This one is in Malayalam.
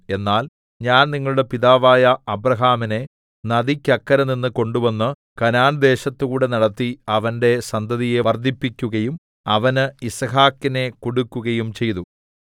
എന്നാൽ ഞാൻ നിങ്ങളുടെ പിതാവായ അബ്രാഹാമിനെ നദിക്കക്കരെനിന്ന് കൊണ്ടുവന്ന് കനാൻദേശത്തുകൂടെ നടത്തി അവന്റെ സന്തതിയെ വർദ്ധിപ്പിക്കുകയും അവന് യിസ്ഹാക്കിനെ കൊടുക്കുകയും ചെയ്തു